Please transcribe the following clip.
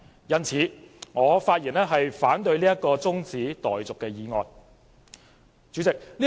因此，我發言反對這項中止待續議案。